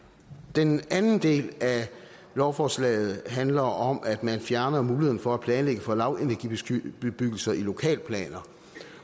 den anden del af lovforslaget handler om at man fjerner muligheden for at planlægge for lavenergibebyggelser i lokalplaner